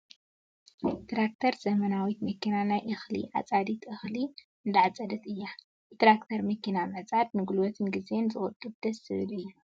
ትራክተር ዘመናዊት መኪና ናይ እክሊ ዓፃዲት እክሊ እንዳዓፀደት እያ ። ብትራክተር መኪና ምዕፃድ ንጉልበትን ግዜን ዝቁጡብን ደሰ ዝብልን እዩ ።